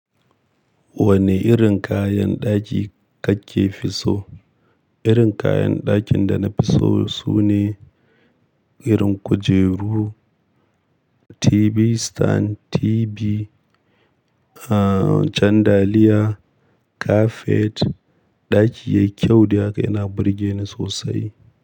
Wane irin kayan ɗaki kake fi so? Irin kayan ɗakin da na fi so sune irin kujeru, TV stand, TV, uh, candalia, kafet. Ɗaki yayi kyau da haka yana burge ni sosai.